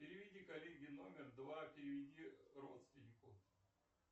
переведи коллеге номер два переведи родственнику